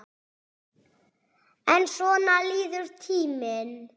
En svona líður tíminn.